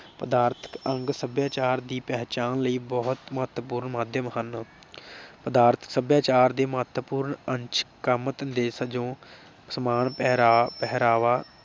ਪਦਾਰਥ ਅੰਗ ਸਭਿਆਚਾਰ ਦੀ ਪਹਿਚਾਣ ਲਈ ਬਹੁਤ ਮਹੱਤਵਪੂਰਨ ਮਾਧਿਅਮ ਹਨ। ਪਦਾਰਥ ਸਭਿਆਚਾਰ ਦੇ ਮਹੱਤਵਪੂਰਨ ਅੰਸ਼ ਕੰਮ ਧੰਦੇ, ਸੰਯੋਗ, ਪਹਿਰਾਵਾ